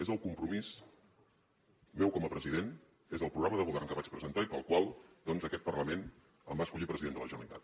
és el compromís meu com a president és el programa de govern que vaig presentar i pel qual doncs aquest parlament em va escollir president de la generalitat